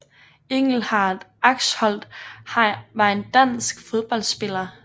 Engelhardt Axholt var en dansk fodboldspiller